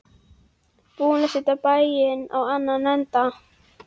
Búin að setja bæinn á annan endann.